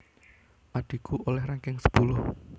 Adhiku oleh ranking sepuluh